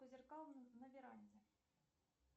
по зеркал на веранде